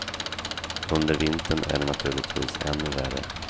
Under vintern är det naturligtvis ännu värre.